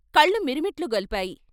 కళ్ళు మిరుమిట్లు గొల్పాయి.